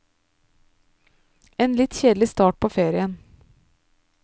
En litt kjedelig start på ferien.